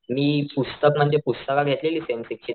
मी पुस्तक म्हणजे पुस्तक घेतलेली सेम सिक्स ची